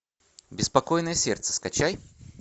беспокойное сердце скачай